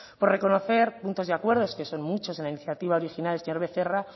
por reconocer puntos y acuerdos que son muchos en la iniciativa original el señor becerra